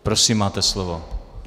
Prosím, máte slovo.